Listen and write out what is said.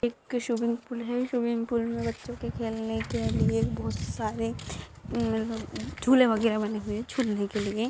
एक swimming pool है swimming pool मैं बच्चोंके खेलनेके लिए बहुत सारे हम्म झूले वगैरे बने हुए है झुलने के लिये।